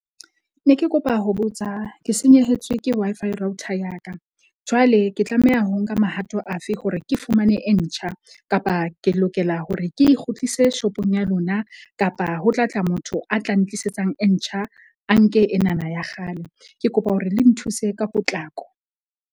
Ne ke kopa ho botsa ke senyehetswe ke Wi-Fi router ya ka. Jwale ke tlameha ho nka mahato afe hore ke fumane e ntjha? Kapa ke lokela hore ke e kgutlise shop-ong ya lona, kapa ho tlatla motho a tla ntlisetsang e ntjha, a nke enana ya kgale? Ke kopa hore le nthuse ka potlako.